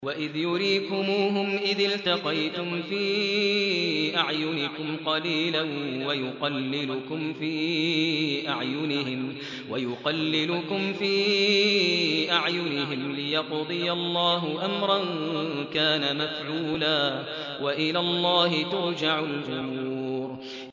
وَإِذْ يُرِيكُمُوهُمْ إِذِ الْتَقَيْتُمْ فِي أَعْيُنِكُمْ قَلِيلًا وَيُقَلِّلُكُمْ فِي أَعْيُنِهِمْ لِيَقْضِيَ اللَّهُ أَمْرًا كَانَ مَفْعُولًا ۗ وَإِلَى اللَّهِ تُرْجَعُ الْأُمُورُ